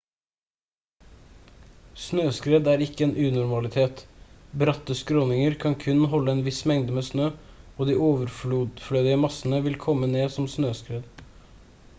snøskred er ikke en unormalitet bratte skråninger kan kun holde en viss mengde med snø og de overflødige massene vil komme ned som snøskred